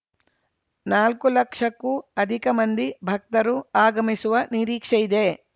ನಾಲ್ಕು ಲಕ್ಷಕ್ಕೂ ಅಧಿಕ ಮಂದಿ ಭಕ್ತರು ಆಗಮಿಸುವ ನಿರೀಕ್ಷೆಯಿದೆ